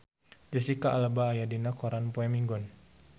Jesicca Alba aya dina koran poe Minggon